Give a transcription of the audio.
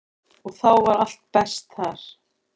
Og þá var allt best þar.